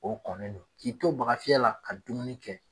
O kɔnnen don. k'i to baga fiyɛ la ka dumuni kɛ